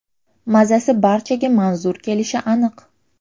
Mazasi barchaga manzur kelishi aniq.